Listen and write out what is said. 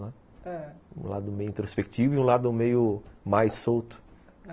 ãh, um lado meio introspectivo e um lado meio mais solto, ãh